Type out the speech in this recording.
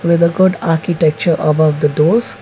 to the architecture above the doors.